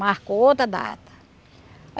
Marcou outra data.